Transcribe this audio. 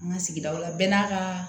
An ka sigidaw la bɛɛ n'a kaa